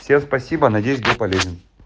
всем спасибо надеюсь был полезен